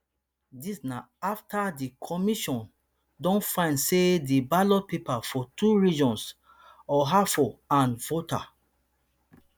dis na afta di commission don find say di ballot papers for two regions ahafo and volta